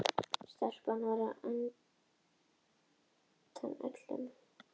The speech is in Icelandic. Auglýsingin birtist viku síðar.